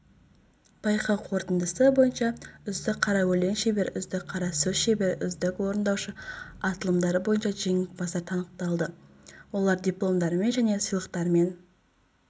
байқау қорытындысы бойынша үздік қара өлең шебері үздік қара сөз шебері үздік орындаушы аталымдары бойынша жеңімпаздар танықталады олар дипломдармен және сыйлықтармен